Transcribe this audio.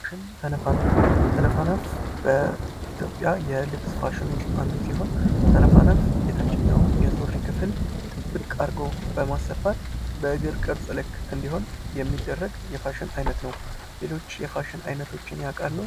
ተነፋነፍ ተነፋነፍ በኢትዮጵያ የልብስ ፋሽን ውስጥ አንዱ ሲሆን ተነፋነፍ የታችኛው የሱሪ ክፍል ጥብቅ አድርጎ በማሰፋት በእግር ቅርፅ ልክ እንዲሆን የሚደረግ የፋሽን አይነት ነው ።ሌሎች የፋሽን አይነቶችን ያውቃሉ?